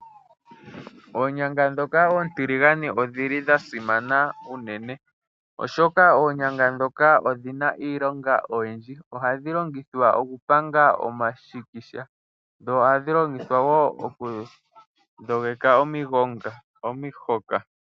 Oonyanga ndhoka oontiligane odhili dha simana unene, oshoka oonyanga ndhoka odhina iilonga oyindji . Ohadhi longithwa okupanga omashikisha dho ohadhi longithwa woo oku dhogeka omihoka